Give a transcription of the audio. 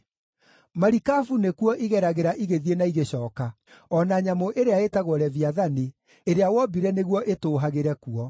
Marikabu nĩkuo igeragĩra igĩthiĩ na igĩcooka, o na nyamũ ĩrĩa ĩĩtagwo Leviathani, ĩrĩa wombire nĩguo ĩtũũhagĩre kuo.